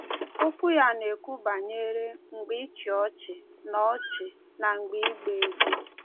Okwu ya na-ekwu banyere “mgbe ịchị ọchị” na ọchị” na “mgbe ịgba egwu."